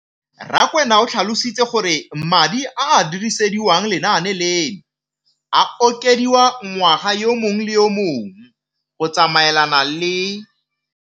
Rakwena o tlhalositse gore madi a a dirisediwang lenaane leno a okediwa ngwaga yo mongwe le yo mongwe go tsamaelana le.